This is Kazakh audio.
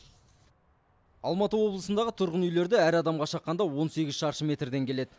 алматы облысындағы тұрғын үйлерді әр адамға шаққанда он сегіз шаршы метрден келеді